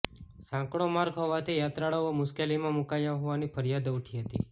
સાંકડો માર્ગ હોવાથી યાત્રાળુઓ મુશ્કેલીમાં મુકાયા હોવાની ફરિયાદો ઉઠી હતી